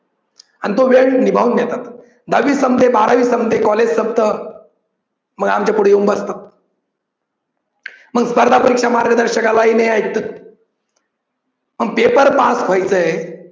आणि तो वेळ निभावून घेतात दहावी संपते बारावी संपते college संपत मग आमचे पुढे येऊन बसतात. मग स्पर्धा परीक्षा मार्गदर्शकालाही नाही ऐकत पण पेपर पास व्हायचंय.